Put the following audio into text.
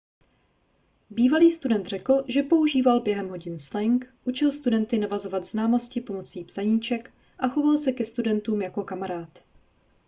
bývalý student řekl že používal během hodin slang učil studenty navazovat známosti pomocí psaníček a choval se ke studentům jako kamarád